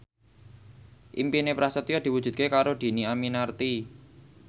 impine Prasetyo diwujudke karo Dhini Aminarti